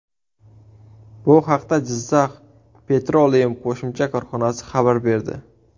Bu haqda Jizzakh Petroleum qo‘shma korxonasi xabar berdi.